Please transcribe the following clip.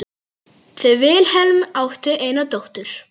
Þau Vilhelm áttu eina dóttur.